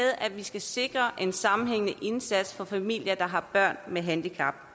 at vi skal sikre en sammenhængende indsats for familier der har børn med handicap